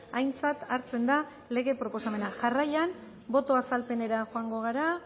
aintzat hartzen da lege proposamena jarrain boto azalpenera joango gara